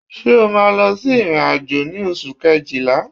Ṣé ẹ máa lọ sí ìrìn-àjò ní oṣù Kejìlá?